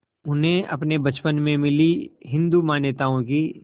उन्हें अपने बचपन में मिली हिंदू मान्यताओं की